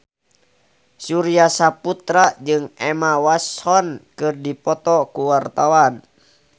Surya Saputra jeung Emma Watson keur dipoto ku wartawan